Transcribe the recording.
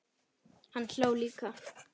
Hann hló líka.